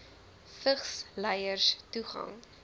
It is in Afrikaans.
vigs lyers toegang